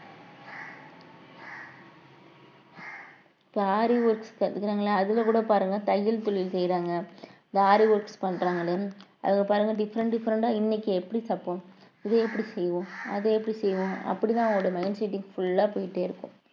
இப்போ ஆரி work கத்துக்கறாங்கள அதுல கூட பாருங்க தையல் தொழில் செய்யறாங்க இந்த ஆரி work பண்றாங்கன்னு அதுல பாருங்க different different ஆ இன்னைக்கு எப்படி தைப்போம் இதை எப்படி செய்வோம் அதை எப்படி செய்வோம் அப்படித்தான் அவங்களோட mind seting full ஆ போயிட்டே இருக்கும்